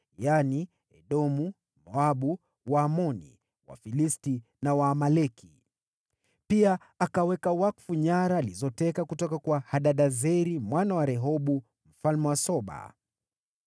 yaani Edomu, Moabu, Waamoni, Wafilisti na Waamaleki. Pia akaweka wakfu nyara alizoteka kutoka kwa Hadadezeri mwana wa Rehobu, mfalme wa Soba.